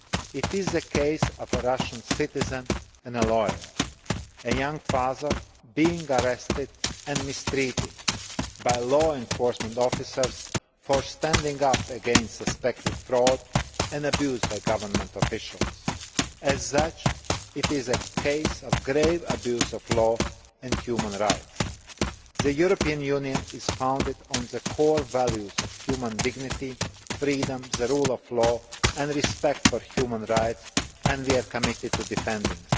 It is a case of a Russian citizen and a lawyer, a young father being arrested and mistreated by law enforcement officers for standing up against suspected fraud and abuse by government officials. As such it is a case of grave abuse of the law and of human rights. The European Union is founded on the core values of human dignity, freedom, the rule of law and respect for human rights, and we are committed to defending